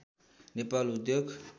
नेपाल उद्योग